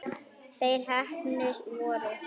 Þeir heppnu voru